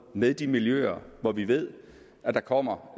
med de miljøer hvor vi ved at der kommer